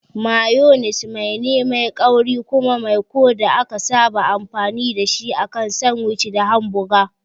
Mayones mai ne mai kauri kuma maiko da aka saba amfani da shi akan sandwich da hamboga.